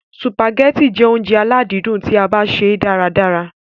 Sùpàgẹ́tì jẹ́ óúnjẹ aládìídùn tí a bá ṣè é dára ràrá.